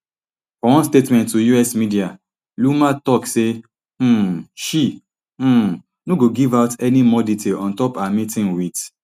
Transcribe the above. for one statement to us media loomer tok say um she um no go give out any more details on top her meeting wit